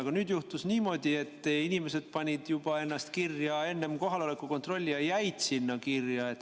Aga nüüd juhtus niimoodi, et inimesed panid ennast kirja juba enne kohaloleku kontrolli ja jäid sinna kirja.